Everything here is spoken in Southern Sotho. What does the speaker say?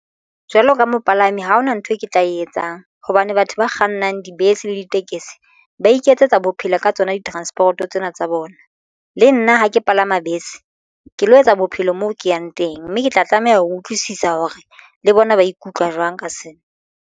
Jwalo ka mopalami ha hona nthwe ke tla e etsang hobane batho ba kgannang dibese le ditekesi ba iketsetsa bophelo ka tsona di transport-o tsena tsa bona. Le nna ha ke palama bese ke lo etsa bophelo mo ke yang teng mme ke tla tlameha ho utlwisisa hore le bona ba ikutlwa jwang ka sena.